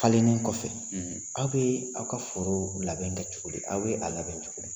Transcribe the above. Falenni kɔfɛ, aw bɛ aw ka foro labɛn kɛ cogo di aw bɛ a labɛn cogo di